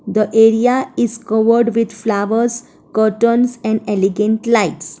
The area is covered with flowers curtains and elegant lights.